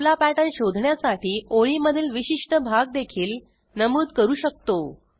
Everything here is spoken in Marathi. आपला पॅटर्न शोधण्यासाठी ओळीमधील विशिष्ट भाग देखील नमूद करू शकतो